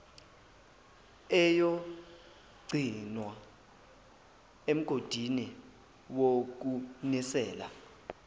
eyogcinwa emgodini wokunisela